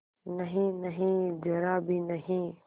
नहींनहीं जरा भी नहीं